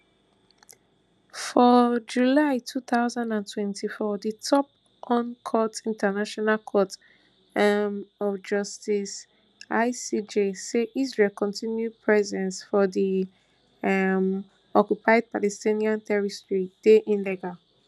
for july two thousand and twenty-four di top un court international court um of justice icj say israel continued presence for di um occupied palestinian territories dey illegal